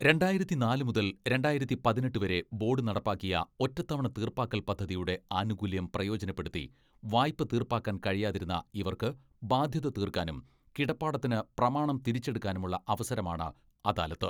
രണ്ടായിരത്തിനാല് മുതൽ രണ്ടായിരത്തി പതിനെട്ട് വരെ ബോഡ് നടപ്പാക്കിയ ഒറ്റത്തവണ തീർപ്പാക്കൽ പദ്ധതിയുടെ ആനുകൂല്യം പ്രയോജനപ്പെടുത്തി വായ്പ തീർപ്പാക്കാൻ കഴിയാതിരുന്ന ഇവർക്ക് ബാധ്യത തീർക്കാനും കിടപ്പാടത്തിന് പ്രമാണം തിരിച്ചെടുക്കാനുമുള്ള അവസരമാണ് അദാലത്ത്.